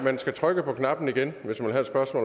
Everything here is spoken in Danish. også